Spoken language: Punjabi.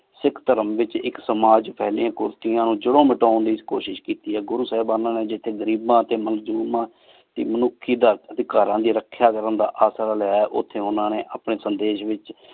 ਸਿਖ ਧਰਮ ਵਿਚ ਇਕ ਸਮਾਜ ਫੇਲ੍ਯਾਂ ਕੁਰ੍ਤਿਯਾਂ ਨੂ ਜ਼ਰ੍ਰੋੰ ਖਤਮ ਕਰਨ ਲੈ ਏਸ ਕੋਸ਼ਿਸ਼ ਕੀਤੀ ਆਯ ਗੁਰੂ ਸਾਹੇਬਾਨਾ ਨੀ ਘਰੀਬਨ ਟੀ ਮਜਲੂਮਾਂ ਦੀ ਮਨੁਖੀ ਦਾ ਰਖ੍ਯਾ ਕਰਨ ਦਾ ਅਸਰ ਲ੍ਯ ਆਯ ਓਥੀ ਓਨਹਾ ਨੀ ਅਪਨੀ ਸੰਦੇਸ਼ ਵਿਚ